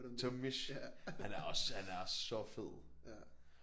Tomish han er også han er også så fed